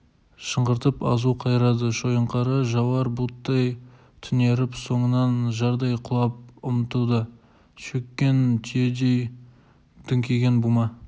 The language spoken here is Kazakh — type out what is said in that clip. шыңғыртып азу қайрады шойынқара жауар бұлттай түнеріп соңынан жардай құлап ұмтылды шөккен түйедей дүңкиген бума